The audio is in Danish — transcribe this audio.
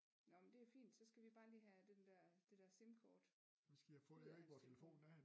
Nåh men det er fint så skal vi bare lige have den dér det dér simkort ud af hans telefon